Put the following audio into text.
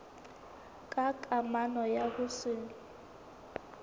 ka kamano ya ho se